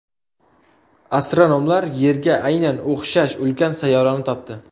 Astronomlar Yerga aynan o‘xshash ulkan sayyorani topdi.